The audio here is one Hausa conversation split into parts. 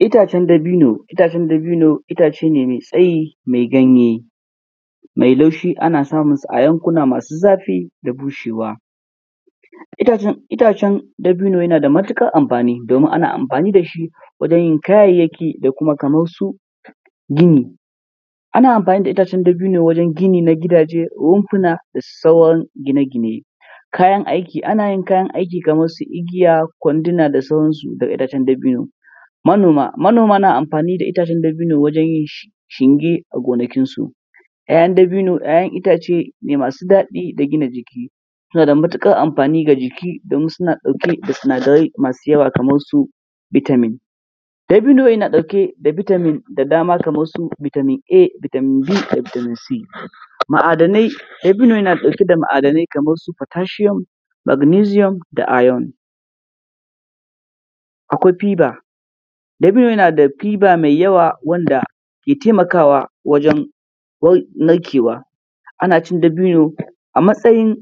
Itacen dabino, itacen dabino itace ne mai tsayi mai ganye, mai laushi, ana samun su a yankuna masu zafi da bushewa. Itacen dabino yana da matuƙar amfani domin ana amfani da shi wajen yin kayayyaki da kuma kamar su gini. Ana amfani da itacen dabino wajen gini na gidaje da rumfuna da sauran gine-gine. Kayan aiki, ana yin kayan aiki kamar su igiya, kwandina da sauransu da itacen dabino. Manoma, manoma na amfani da itacen dabino wajen yin shinge a gonakinsu. ‘Ya’yan dabino ‘ya’yan itace ne masu daɗi da gina jiki, suna da matuƙar amfani ga jiki domin suna ɗauke da sinadarai masu yawa kamarsu vitamin. Dabino yana ɗauke da vitamin da dama kamar su vitamin A, vitamin B da vitamin C. Ma’adanai, dabino yana ɗauke da ma’adanai kamarsu potassium, magnesium da iron. Akwai fiba, dabino yana da fiba mai yawa wanda ke taimakawa wajen narkewa. Ana cin dabino a matsayin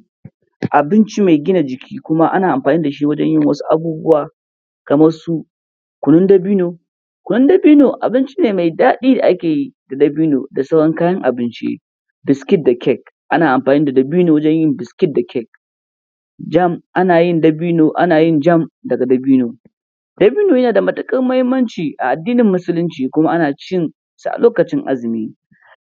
abinci mai gina jiki, kuma ana amfani da shi wajen yin wasu abubuwa kamar su kunun dabino; kunun dabino abinci ne mai daɗi da ake yi da dabino da sauran kayan abinci, biskit da kek, ana amfani da dabino wajen yin biskit da kek, jam, ana yin dabino, ana jam daga dabino. Dabino yana da matuƙar mahimmanci a addinin musulunci kuma ana cin sa a lokacin azumi.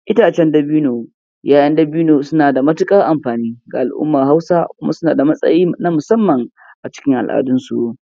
Itacen dabino, ‘ya’yan dabino suna da matuƙar amfani ga al’ummar Hausa kuma suna da matsayi na musamman acikin al’adunsu.